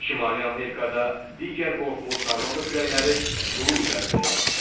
Şimali Amerikada digər qorxulu tornado küləkləri quru üzərində yaranır.